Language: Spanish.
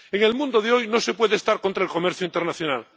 En el mundo de hoy no se puede estar contra el comercio internacional.